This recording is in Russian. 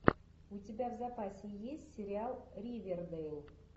у тебя в запасе есть сериал ривердейл